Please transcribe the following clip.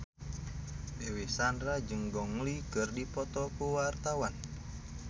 Dewi Sandra jeung Gong Li keur dipoto ku wartawan